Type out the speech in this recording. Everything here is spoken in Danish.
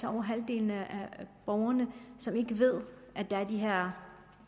er over halvdelen af borgerne som ikke ved at der er de her